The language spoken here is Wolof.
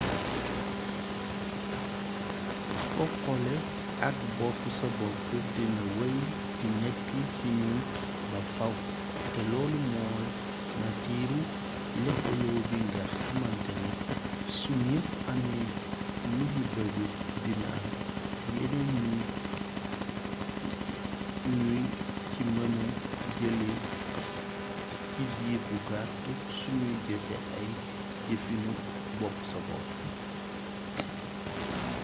foqole ak bopp-sa-bopp dina wey di nekk ci ñun ba fàww te loolu mooy natiiru lëkkaloo bi nga xàmantane su ñépp amee luñu bëgg dina am yeneen yuñ ci mëna jëlee ci diir bu gàtt suñuy jëfe ay jëfiinu bopp-sa-bopp